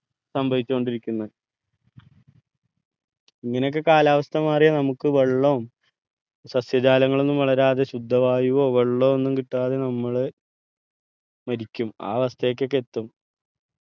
സംഭവിച്ചു കൊണ്ടിരിക്കുന്നത് ഇങ്ങനെ ഒക്കെ കാലാവസ്ഥ മാറിയാ നമുക്ക് വെള്ളോം സസ്യജാലങ്ങളൊന്നും വളരാതെ ശുദ്ധവായുവോ വെള്ളവോ ഒന്നും കിട്ടാതെ നമ്മള് മരിക്കും ആ അവസ്ഥയൊക്കെയെത്തും